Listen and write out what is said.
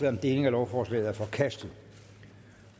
om delingen af lovforslaget er forkastet